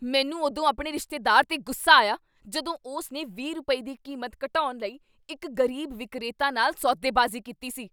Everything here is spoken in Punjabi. ਮੈਨੂੰ ਉਦੋਂ ਆਪਣੇ ਰਿਸ਼ਤੇਦਾਰ 'ਤੇ ਗੁੱਸਾ ਆਇਆ ਜਦੋਂ ਉਸ ਨੇ ਵੀਹ ਰੁਪਏ, ਦੀ ਕੀਮਤ ਘਟਾਉਣ ਲਈ ਇੱਕ ਗ਼ਰੀਬ ਵਿਕਰੇਤਾ ਨਾਲ ਸੌ ਦੇਬਾਜ਼ੀ ਕੀਤੀ ਸੀ